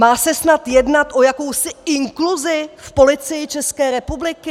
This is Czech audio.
Má se snad jednat o jakousi inkluzi v Policii České republiky?